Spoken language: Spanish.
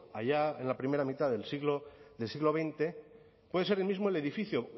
allá en la primera mitad del siglo veinte puede ser el mismo el edificio